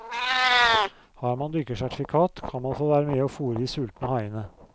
Har man dykkersertifikat, kan man få være med og fôre de sultne haiene.